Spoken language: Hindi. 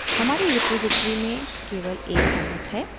हमारी रिपॉज़िटरी में केवल एक commit है